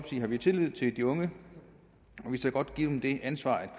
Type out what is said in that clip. har vi tillid til de unge og vi tør godt give dem det ansvar at